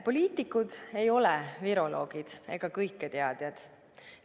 Poliitikud ei ole viroloogid ega kõiketeadjad.